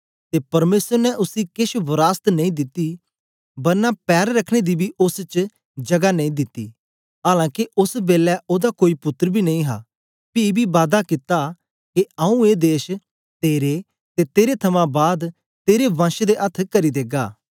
ते परमेसर ने उसी केछ वरासत नेई दिती बरना पैर रखने पर दी बी ओस च जगा नेई दिती आलां के ओस बेलै ओदा कोई पुत्तर बी नेई हा पी बी बादा कित्ता के आंऊँ ए देश तेरे ते तेरे थमां बाद तेरे वंश दे अथ्थ करी देगा